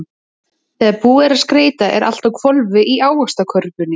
Þegar búið er að skreyta er allt á hvolfi í Ávaxtakörfunni.